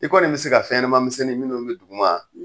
I kɔni be se ka fɛn ɲɛnamamisɛnnin minnu be duguma